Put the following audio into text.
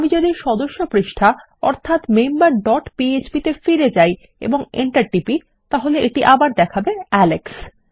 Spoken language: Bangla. আমি যদি সদস্য পৃষ্ঠা অর্থাত মেম্বার ডট পিএচপি তে ফিরে যাই এবং এন্টার টিপি তাহলে এটি আবার দেখাবে আলেক্স